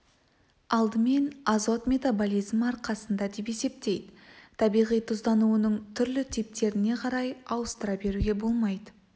алдымен азот метаболизмі арқасында деп есептейді табиғи тұздануының түрлі типтеріне қарай ауыстыра беруге болмайды